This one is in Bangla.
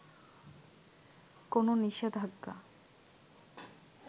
কোন নিষেধাজ্ঞা